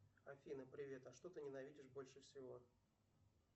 афина привет а что ты ненавидишь больше всего